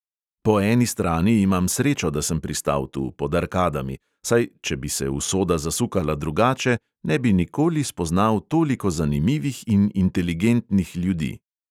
Po eni strani imam srečo, da sem pristal tu, pod arkadami, saj, če bi se usoda zasukala drugače, ne bi nikoli spoznal toliko zanimivih in inteligentnih ljudi.